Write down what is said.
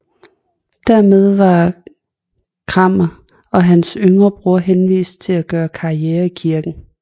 Dermed var Cranmer og hans yngre bror henvist til at gøre karriere i kirken